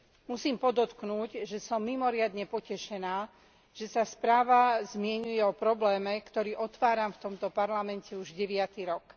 Musím podotknúť, že som mimoriadne potešená, že sa správa zmieňuje o probléme, ktorý otváram v tomto parlamente už deviaty rok.